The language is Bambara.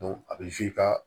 a bɛ ka